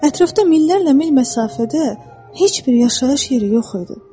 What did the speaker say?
Ətrafda minlərlə mil məsafədə heç bir yaşayış yeri yox idi.